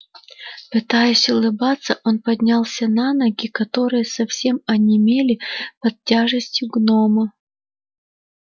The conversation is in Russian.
пытаясь улыбаться он поднялся на ноги которые совсем онемели под тяжестью гнома